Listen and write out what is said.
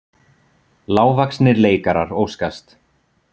Lágvaxnir leikarar óskast